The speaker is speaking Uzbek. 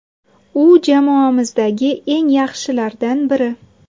U jamoamizdagi eng yaxshilardan biri.